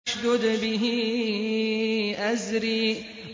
اشْدُدْ بِهِ أَزْرِي